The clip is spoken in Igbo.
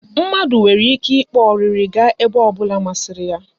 Mmadụ nwere ike ịkpa ọrịrị gaa ebe ọ bụla masịrị ya.